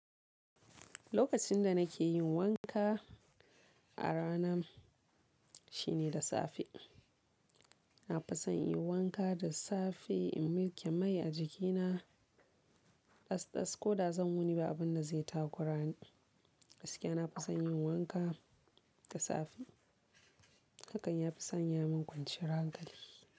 Lokacin da nake yin wanka a rana shine da safe. Na fi son yin wanka da safe in miƙe mai a jikina. Ɗasɗas ko da zan wuni ba abin da zai takura ni. Gaskiya na fi son yin wanka da safe. Hakan ya fi sanya min kwanciyar hankali.